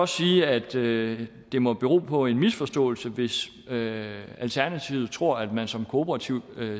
sige at det det må bero på en misforståelse hvis alternativet tror at man som kooperativt